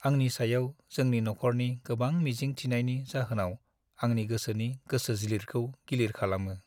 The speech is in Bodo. आंनि सायाव जोंनि नखरनि गोबां मिजिं थिनायनि जाहोनाव आंनि गोसोनि गोसोज्लिरखौ गिलिर खालामो।